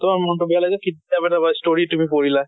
তোমাৰ মন টো বেয়া লাগিল কিতাপ এটা বা story তুমি পঢ়িলা।